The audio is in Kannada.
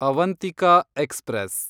ಅವಂತಿಕಾ ಎಕ್ಸ್‌ಪ್ರೆಸ್